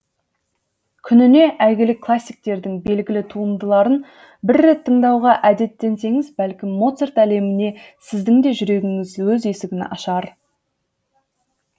күніне әйгілі классиктердің белгілі туындыларын бір рет тыңдауға әдеттенсеңіз бәлкім моцарт әлеміне сіздің де жүрегіңіз өз есігін ашар